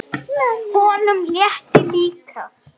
Honum létti líka.